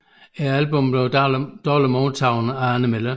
Albummet blev dårligt modtaget af anmelderne